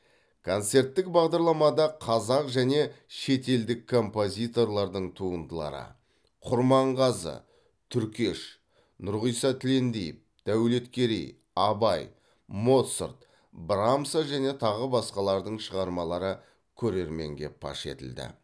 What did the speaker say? концерттік бағдарламада қазақ және шетелдік композиторлардың туындылары құрманғазы түркеш нұрғиса тілендиев дәулеткерей абай моцарт брамса және тағы басқалардың шығармалары көрерменге паш етілді